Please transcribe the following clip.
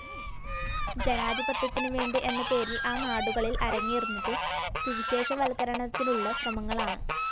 ജനാധിപത്യത്തിനുവേണ്ടി എന്നപേരില്‍ ആ നാടുകളില്‍ അരങ്ങേറുന്നത് സുവിശേഷവല്‍ക്കരണത്തിനുള്ള ശ്രമങ്ങളാണ്